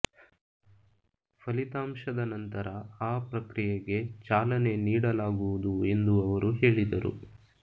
ಫಲಿತಾಂಶದ ನಂತರ ಆ ಪ್ರಕ್ರಿಯೆಗೆ ಚಾಲನೆ ನೀಡಲಾಗುವುದು ಎಂದು ಅವರು ಹೇಳಿದರು